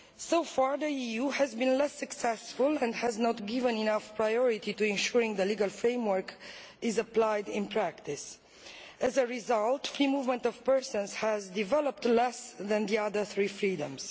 So far the EU has been less successful and has not given enough priority to ensuring the legal framework is applied in practice. As a result, the free movement of persons has developed less than the other three freedoms.